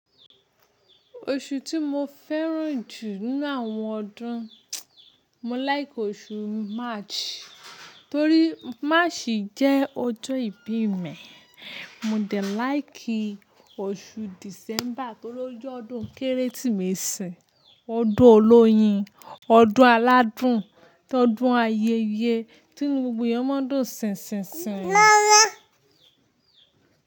Oṣù tí mo fẹ́ràn jù nínú àwọn ọdún, mo like oṣù March torí March jẹ́ ọjọ́ ìbí mi. Mo de like oṣù December torí o je ọdún Kérésìmesì, ọdún olóyin, ọdún aládùn, ọdún ayẹyẹ tí inu gbogbo ẹyan máa ń dùn sẹ̀nsẹ̀nsẹ̀yẹn.